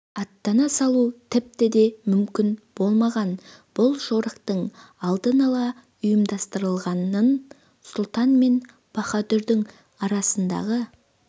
аттана салу тіпті де мүмкін болмаған бұл жорықтың алдын ала ұйымдастырылғанын сұлтан мен баһадүрдің арасындағы